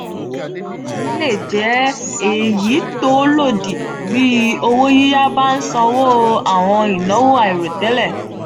aworan yi le je eyi to lodi bi owo yiya ba nsanwo awon inawo airotele.